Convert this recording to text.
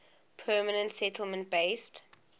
permanent settlement based